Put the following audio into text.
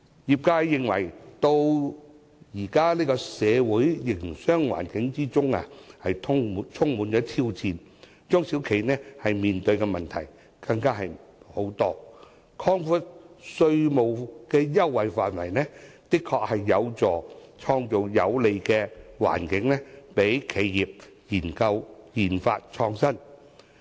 業界認為，現今社會的營商環境充滿挑戰，而中小企面對的問題相當多，故此，擴闊稅務優惠範圍，的確有助創造有利企業研發創新的環境。